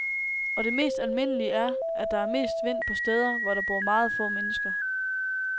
Og det mest almindelige er, at der er mest vind på steder, hvor der bor meget få mennesker.